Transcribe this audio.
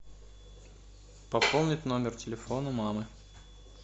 пополнить номер телефона мамы